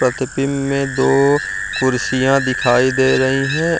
प्रतिबिम्ब में दो कुर्सियां दिखाई दे रहीं हैं।